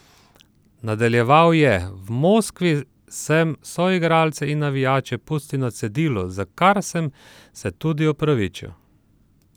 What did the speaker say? Nadaljeval je: "V Moskvi sem soigralce in navijače pustil na cedilu, za kar sem se tudi opravičil.